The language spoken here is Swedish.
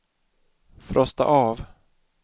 frosta av